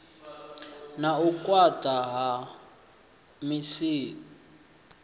na u khwaṱha ha misipha